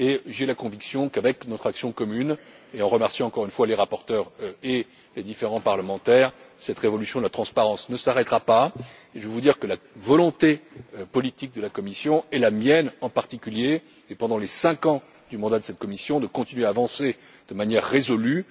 agir. J'ai la conviction qu'avec notre action commune et nous remercions encore une fois les rapporteurs et les différents parlementaires cette révolution de la transparence ne s'arrêtera pas. J'ajouterai que la volonté politique de la Commission et la mienne en particulier est, pendant les cinq ans du mandat de cette Commission, de continuer à avancer de manière résolue.